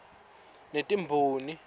netimboni